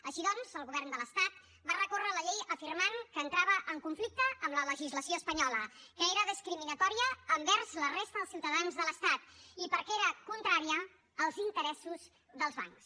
així doncs el govern de l’estat va recórrer la llei afirmant que entrava en conflicte amb la legislació espanyola que era discriminatòria envers la resta dels ciutadans de l’estat i perquè era contrària als interessos dels bancs